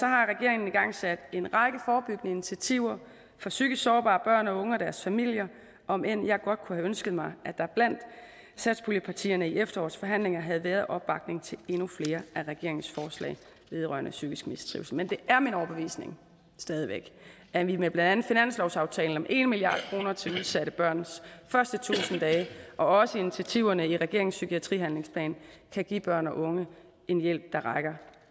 har regeringen igangsat en række forebyggende initiativer for psykisk sårbare børn og unge og deres familier om end jeg godt kunne have ønsket mig at der blandt satspuljepartierne i efterårets forhandlinger havde været opbakning til endnu flere af regeringens forslag vedrørende psykisk mistrivsel men det er min overbevisning stadig væk at vi med blandt andet finanslovsaftalen om en milliard kroner til udsatte børns første tusind dage og også initiativerne i regeringens psykiatrihandlingsplan kan give børn og unge en hjælp der rækker